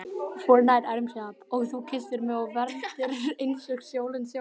Og þú kysstir mig og vermdir eins og sólin sjálf.